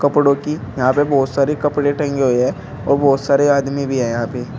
यहां पे बहुत सारे कपड़े टंगे हुए है और बहुत सारे आदमी भी हैं यहां पे।